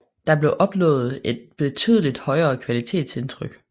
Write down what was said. Der blev opnået et betydeligt højere kvalitetsindtryk